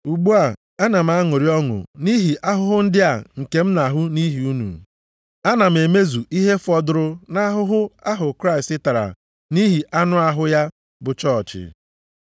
Ugbu a, ana m aṅụrị ọṅụ nʼihi ahụhụ ndị a nke m na-ahụ nʼihi unu, ana m emezu ihe fọdụrụ nʼahụhụ ahụ Kraịst tara nʼihi anụ ahụ ya bụ chọọchị.